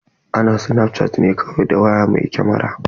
Ana snapchatting ne kawai da waya mai kamara.